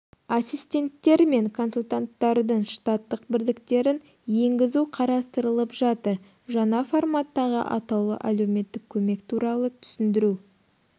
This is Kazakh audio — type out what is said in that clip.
ассистенттер мен консультанттардың штаттық бірліктерін енгізу қарастырылып жатыр жаңа форматтағы атаулы әлеуметтік көмек туралы түсіндіру